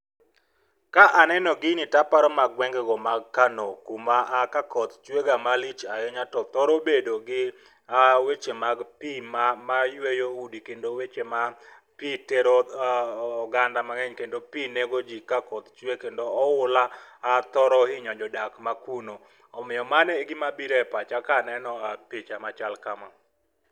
Ka aneno gini taparo mana gweng'ego mag Kano ma ka koth chwe ga malich ahinya to thoro bedo gi weche mag pii mayweyo udi kendo weche ma pii tero oganda mangeny kendo pii nego jii ka koth chwe. Kendo oula thoro inyo jodak ma kuno. Omiyo mano e gima biro e pacha keneno picha machal kama